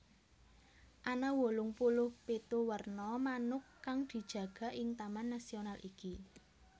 Ana wolung puluh pitu werna manuk kang dijaga ing taman nasional iki